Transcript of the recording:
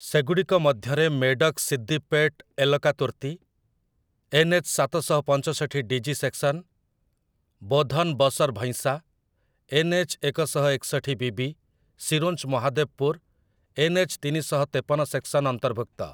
ସେଗୁଡ଼ିକ ମଧ୍ୟରେ 'ମେଡକ୍ ସିଦ୍ଦିପେଟ୍ ଏଲକାତୁର୍ତୀ', ଏନ୍‌.ଏଚ୍‌. ସାତ ଶହ ପଞ୍ଚଷଠି DG. Section, 'Bodhan Basar Bhainsa', NH. ଏକ ଶହ ଏକଷଠି ବି.ବି., 'ସିରୋଞ୍ଚ୍ ମହାଦେବପୁର୍', ଏନ୍‌.ଏଚ୍‌. ତିନିଶହ ତେପନ ସେକ୍ସନ୍ ଅନ୍ତର୍ଭୁକ୍ତ ।